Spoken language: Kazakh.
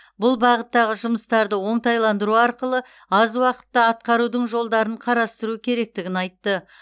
бұл бағыттағы жұмыстарды оңтайландыру арқылы аз уақытта атқарудың жолдарын қарастыру керектігін айтты